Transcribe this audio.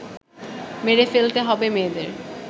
মেরে ফেলতে হবে মেয়েদের